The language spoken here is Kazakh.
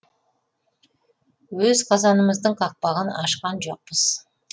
өз қазанымыздың қақпағын ашқан жоқпыз